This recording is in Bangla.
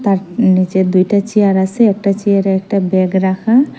তার নীচে দুইটা চেয়ার আসে একটা চেয়ারে একটা ব্যাগ রাখা।